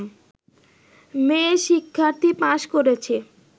মেয়ে শিক্ষার্থী পাস করেছে